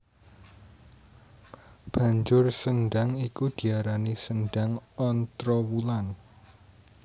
Banjur sendhang iku diarani Sendhang Ontrowulan